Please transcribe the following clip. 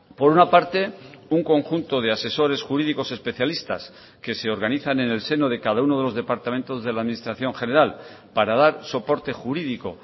por una parte un conjunto de asesores jurídicos especialistas que se organizan en el seno de cada uno de los departamentos de la administración general para dar soporte jurídico